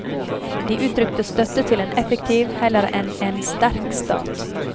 De uttrykte støtte til en effektiv, heller enn en sterk, stat.